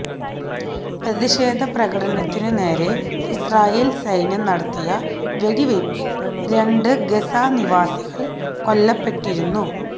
പ്രതിഷേധപ്രകടനത്തിനു നേരെ ഇസ്രയേല് സൈന്യം നടത്തിയ വെടിവയ്പ്പില് രണ്ട് ഗസാ നിവാസികള് കൊല്ലപ്പെട്ടിരുന്നു